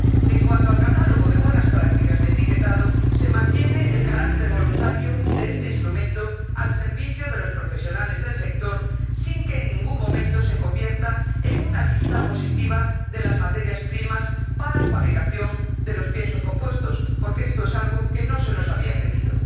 En cuanto al catálogo de buenas prácticas de etiquetado, se mantiene el carácter voluntario de este instrumento al servicio de los profesionales del sector sin que en ningún momento se convierta en una lista positiva de las materias primas para la fabricación de los piensos compuestos, porque esto es algo que no se nos había pedido.